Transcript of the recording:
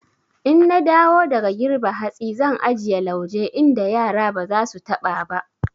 In na dawo daga girbe hatsi zan ajiye lauje inda yara ba za su taɓa ba.